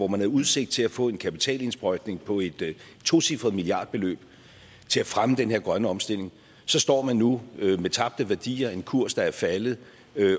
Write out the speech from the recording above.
man havde udsigt til at få en kapitalindsprøjtning på et tocifret milliardbeløb til at fremme den her grønne omstilling og så står man nu med tabte værdier en kurs der er faldet